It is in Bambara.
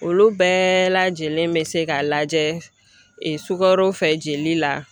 Olu bɛɛ lajɛlen bɛ se ka lajɛ sukaro fɛ jeli la